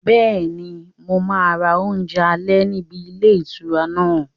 Bẹ́ẹ̀ni, mo máa ra oúnjẹ alẹ́ níbi ilé ìtura náà